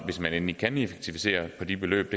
hvis man endelig kan effektivisere for det beløb